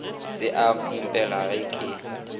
se a mpipela ga ke